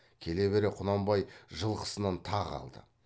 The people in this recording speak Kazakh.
келе бере құнанбай жылқысынан тағы алды